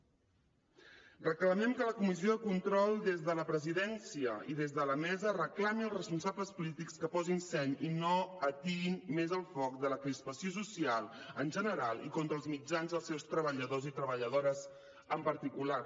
reclamem que la comissió de control des de la presidència i des de la mesa reclami als responsables polítics que posin seny i no atiïn més el foc de la crispació social en genal i contra els mitjans i els seus treballadors i treballadores en particular